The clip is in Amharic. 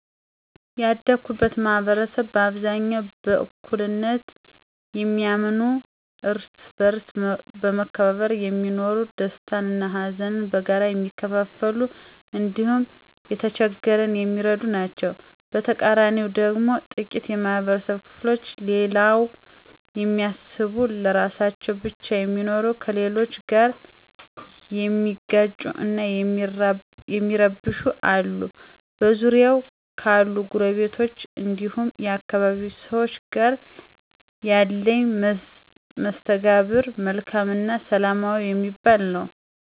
ያደኩበት ማህበረሰብ በአብዛኛው በእኩልነት የሚያምኑ፣ እርስ በእርስ በመከባበር የሚኖሩ፣ ደስታን እና ሀዘንን በጋራ የሚካፈሉ እንዲሁም የተቸገረን የሚረዱ ናቸዉ። በተቃራኒው ደግሞ ጥቂት የማህበረብ ክፍሎች ለሌላው የሚያስቡ ለራሳቸው ብቻ የሚኖሩ፣ ከሌሎች ጋር የሚጋጩ እና የሚረብሹ አሉ። በዙሪያዬ ካሉ ጐረቤቶች እንዲሁም የአካባቢዬ ሰዎች ጋር ያለኝ መስተጋብር መልካም እና ሰላማዊ የሚባል ነው።